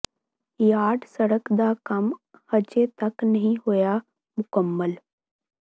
yard ਸੜਕ ਦਾ ਕੰਮ ਹਜੇ ਤੱਕ ਨਹੀਂ ਹੋਇਆ ਮੁਕੰਮਲ